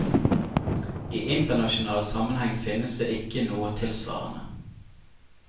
I internasjonal sammenheng finnes det ikke noe tilsvarende.